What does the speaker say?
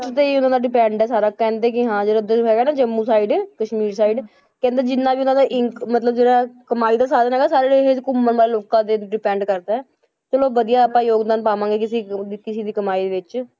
ਤੇ ਹੀ ਉਹਨਾਂ ਦਾ depend ਹੈ ਸਾਰਾ ਕਹਿੰਦੇ ਕਿ ਹਾਂ ਜਿਹੜਾ ਉੱਧਰ ਹੈਗਾ ਨਾ ਜੰਮੂ side ਕਸ਼ਮੀਰ side ਕਹਿੰਦੇ ਜਿੰਨਾਂ ਵੀ ਉਹਨਾਂ ਦਾ ਇਨਕ~ ਮਤਲਬ ਜਿਹੜਾ ਕਮਾਈ ਦਾ ਸਾਧਨ ਹੈਗਾ ਸਾਰਾ ਇਹ ਘੁੰਮਣ ਵਾਲੇ ਲੋਕਾਂ ਤੇ depend ਕਰਦਾ ਹੈ, ਚਲੋ ਵਧੀਆ ਹੈ ਆਪਾਂ ਯੋਗਦਾਨ ਪਾਵਾਂਗਾ ਕਿਸੇ ਕਿਸੇ ਦੀ ਕਮਾਈ ਵਿੱਚ,